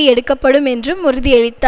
எடுக்கப்படும் என்றும் உறுதியளித்தா